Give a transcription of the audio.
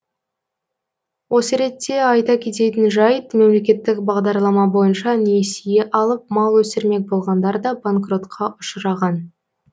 осы ретте айта кететін жайт мемлекеттік бағдарлама бойынша несие алып мал өсірмек болғандар да банкротқа ұшыраған